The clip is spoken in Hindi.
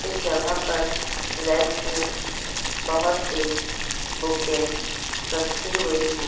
इस जगह पर रैक्स में बहोत सी बुके रखी हुई है।